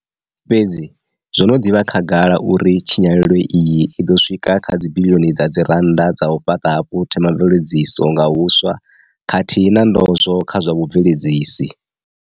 Fhedzi zwo no ḓi vha khagala uri tshinyalelo iyi i ḓo swika kha dzibiḽioni dza dzirannda dza u fhaṱa hafhu themamveledziso nga huswa khathihi na ndozwo kha zwa vhubveledzisi.